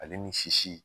Ale ni sisi